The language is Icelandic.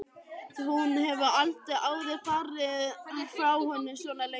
Hún hefur aldrei áður farið frá honum svona lengi.